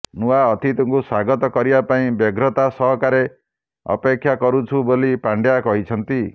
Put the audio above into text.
ନୂଆ ଅତିଥିକୁ ସ୍ୱାଗତ କରିବା ପାଇଁ ବ୍ୟଗ୍ରତା ସହକାରେ ଅପେକ୍ଷା କରୁଛୁ ବୋଲି ପାଣ୍ଡ୍ୟା କହିଛନ୍ତି